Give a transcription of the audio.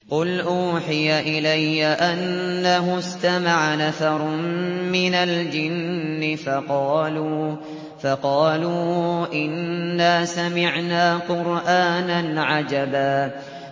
قُلْ أُوحِيَ إِلَيَّ أَنَّهُ اسْتَمَعَ نَفَرٌ مِّنَ الْجِنِّ فَقَالُوا إِنَّا سَمِعْنَا قُرْآنًا عَجَبًا